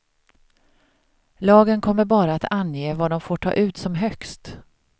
Lagen kommer bara att ange vad de får ta ut som högst.